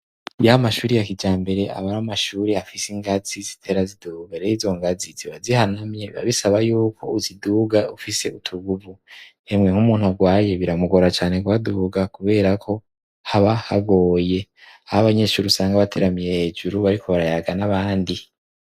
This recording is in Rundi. Ya mashure ya kijambere aba ari amashure afise ingazi zitera ziduga. Re izo ngazi iyo zihanamye biba bisaba y'uko uziduga ufise utuguvu. Hemwe nk'umuntu arwaye biramugora cane kuhaduga kubera ko haba hagoye. Aho abanyeshuri usanga bateramiye hejuru bariko barayaga n'abandi.